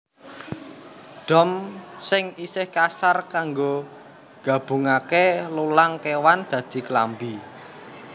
Dom sing isih kasar kanggo gabungake lulang kéwan dadi klambi